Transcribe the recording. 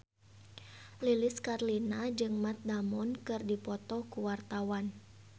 Lilis Karlina jeung Matt Damon keur dipoto ku wartawan